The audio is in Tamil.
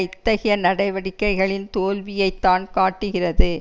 இத்தகைய நடவடிக்கைகளின் தோல்வியைத்தான் காட்டுகிறது